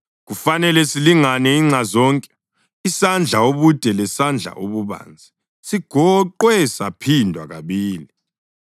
Kufanele silingane inxa zonke, isandla ubude lesandla ububanzi, sigoqwe saphindwa kabili.